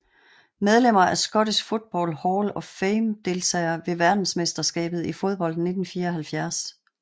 Medlemmer af Scottish Football Hall of Fame Deltagere ved verdensmesterskabet i fodbold 1974